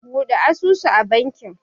Bude asusu a bankin